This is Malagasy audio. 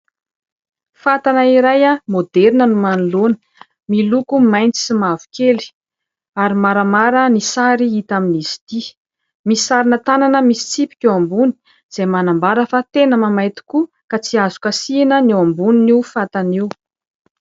Fatana iray maoderina no manoloana. Miloko mainty sy mavokely, ary maramara ny sary no hita amin'izy ity. Misy sarina tanana misy tsipika eo ambony izay manambara fa tena mahamay tokoa ka tsy azo kasihina ny eo ambonin'io fatana io.